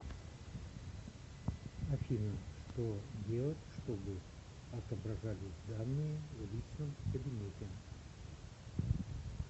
афина что делать чтобы отображались данные в личном кабинете